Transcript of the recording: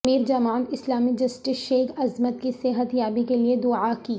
امیر Jamaat Islami justice Sheikh Azmat کی صحت یابی کے لئے دعا کی